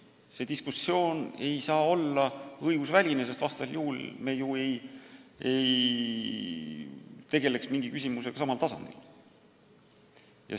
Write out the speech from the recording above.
See diskussioon ei tohi olla õigusväline, sest säärasel juhul me ju ei tegeleks mingi küsimusega samal tasandil.